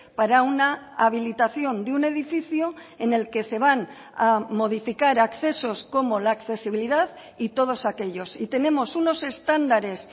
para una habilitación de un edificio en el que se van a modificar accesos como la accesibilidad y todos aquellos y tenemos unos estándares